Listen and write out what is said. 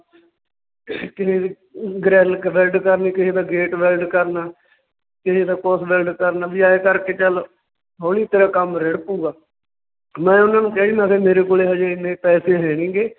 ਕਿਸੇ ਦੀ weld ਕਰਨੀ ਕਿਸੇ ਦਾ gate weld ਕਰਨਾ ਕਿਸੇ ਦਾ ਕੁਛ weld ਕਰਨਾ ਵੀ ਆਂਏ ਕਰਕੇ ਚੱਲ ਹੌਲੀ ਤੇਰਾ ਕੰਮ ਰਿੜ ਪਊਗਾ ਮੈਂ ਉਹਨਾਂ ਨੂੰ ਕਿਹਾ ਜੀ ਮੈਂ ਕਿਹਾ ਮੇਰੇ ਕੋਲੇ ਹਜੇ ਇੰਨੇ ਪੈਸੇ ਹੈਨੀਗੇ।